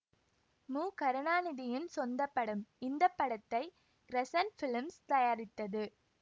மு கருணாநிதியின் சொந்த படம் இந்த படத்தை கிரஸன்ட் பிலிம்ஸ் தயாரித்தது